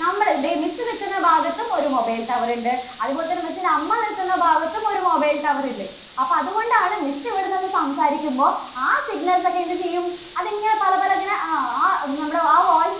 നമ്മള് ദേ miss നിൽക്കുന്ന ഭാഗത്തും ഒരു mobile tower ഉണ്ട്, അതുപോലെതന്നെ miss ന്റെ അമ്മ നിൽക്കുന്ന ഭാഗത്തും ഒരു mobile tower ഉണ്ട്. അപ്പോ അതുകൊണ്ടാണ് miss ഇവിടെനിന്ന് സംസാരിക്കുമ്പോൾ ആ signals ഒക്കെ എന്ത് ചെയ്യും? അത് ഇങ്ങനെ പല പലതിനെ ആ ആ നമ്മുടെ ആ voice